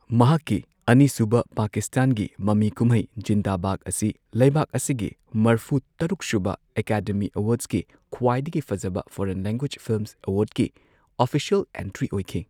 ꯃꯍꯥꯛꯀꯤ ꯑꯅꯤꯁꯨꯕ ꯄꯥꯀꯤꯁꯇꯥꯟꯒꯤ ꯃꯃꯤ ꯀꯨꯝꯍꯩ ꯖꯤꯟꯗꯥ ꯚꯥꯒ ꯑꯁꯤ ꯂꯩꯕꯥꯛ ꯑꯁꯤꯒꯤ ꯃꯔꯐꯨ ꯇꯔꯨꯛꯁꯨꯕ ꯑꯦꯀꯥꯗꯦꯃꯤ ꯑꯦꯋꯥꯔ꯭ꯗꯁꯒꯤ ꯈ꯭ꯋꯥꯏꯗꯒꯤ ꯐꯖꯕ ꯐꯣꯔꯦꯟ ꯂꯦꯡꯒ꯭ꯋꯦꯖ ꯐꯤꯜꯃ ꯑꯦꯋꯥꯔꯗꯁꯀꯤ ꯑꯣꯐꯤꯁ꯭ꯌꯦꯜ ꯑꯦꯟꯇ꯭ꯔꯤ ꯑꯣꯢꯈꯤ꯫